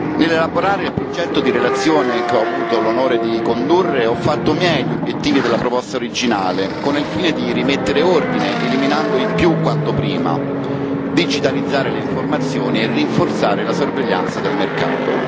Nell'elaborare il progetto di relazione che ho avuto l'onore di condurre, ho fatto miei gli obiettivi della proposta originale con il fine di rimettere ordine, eliminando i quanto prima, digitalizzare le informazioni e rinforzare la sorveglianza del mercato.